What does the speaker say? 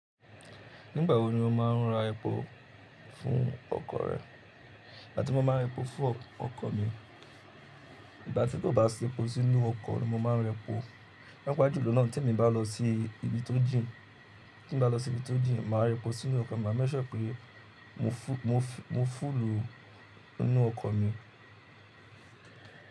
Nígbà wo ni o má a ń ra epo fún ọkọ̀ rẹ? Ìgbà tí mo máa ń repo fún ọkọ̀ mi, ìgbà tí kò bá si epo sínú ọkọ̀ ló máa ń rẹpo. Pa àpá julọ náà tí èmi bá lọ sí ibi tó jìn, tí n bá lọ sí ibi tó jìn, màá repo sínú ọkọ pé ma ma mẹ́ṣẹ́ pé mo fú, mo fú, mo fúlù ínú ọkọ̀ mi.